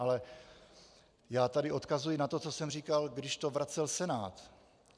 Ale já tady odkazuji na to, co jsem říkal, když to vracel Senát.